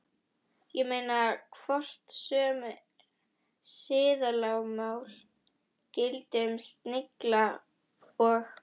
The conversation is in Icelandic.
Ég meina, hvort sömu siðalögmál gildi um snillinga og